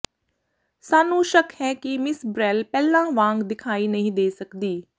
ਸਾਨੂੰ ਸ਼ੱਕ ਹੈ ਕਿ ਮਿਸ ਬ੍ਰੈਲ ਪਹਿਲਾਂ ਵਾਂਗ ਦਿਖਾਈ ਨਹੀਂ ਦੇ ਸਕਦੀ